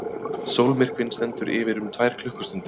Sólmyrkvinn stendur yfir um tvær klukkustundir.